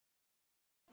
Mamma hefur kvatt.